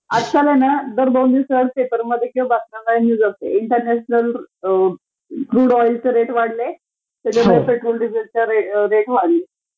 आजकालहेना दार दोन दिवसांनी पपेरमधे किंवा बातम्यांमध्ये न्यूज असते एकदा नॅशनल क्रूड ऑईलचे रेट वाढले तर कधी पेट्रोल डिझेलचे रेट वाढले